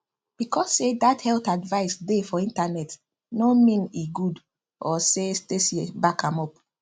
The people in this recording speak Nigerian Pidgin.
because say dat health advice dey for internet no mean e good or say stacey back am up